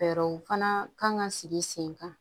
Fɛɛrɛw fana kan ka sigi sen kan